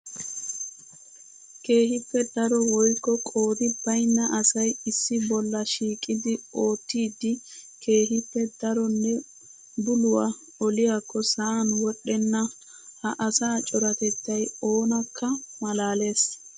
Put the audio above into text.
Keehippe daro woykko qoodi baynna asay issi bolla shiiqiddi ottiddi keehippe daronne buluwaa oliyaakko sa'an wodhdhenna. Ha asaa coratettay oonakka malalees.